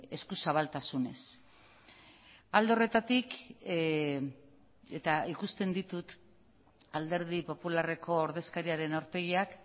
eskuzabaltasunez alde horretatik eta ikusten ditut alderdi popularreko ordezkariaren aurpegiak